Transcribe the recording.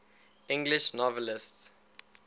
english novelists